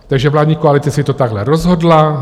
Takže vládní koalice si to takhle rozhodla.